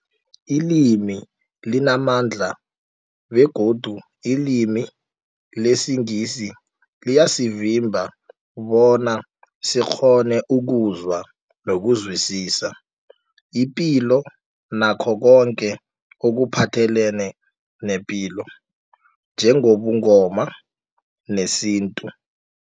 Ilimi limamandla begodu ilimi lesiNgisi liyasivimba bona sikghone ukuzwa nokuzwisisa ipilo nakho koke ekuphathelene nepilo njengobuNgoma nesintu.